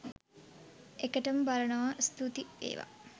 එකටම බලනවා ස්තුති වේවා